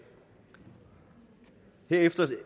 herefter